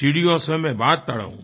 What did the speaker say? चिड़ियों सों मैं बाज तुड़ाऊँ